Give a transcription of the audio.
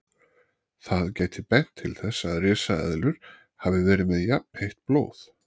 Það gæti bent til þess að risaeðlur hafi verið með jafnheitt blóð.